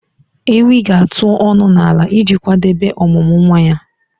Ewi ga-atụ ọnụ n'ala iji kwadebe ọmụmụ nwa ya